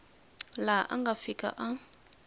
laha a nga fika a